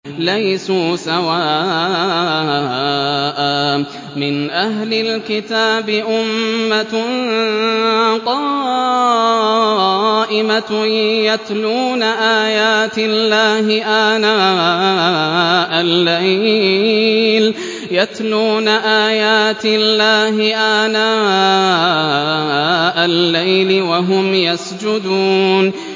۞ لَيْسُوا سَوَاءً ۗ مِّنْ أَهْلِ الْكِتَابِ أُمَّةٌ قَائِمَةٌ يَتْلُونَ آيَاتِ اللَّهِ آنَاءَ اللَّيْلِ وَهُمْ يَسْجُدُونَ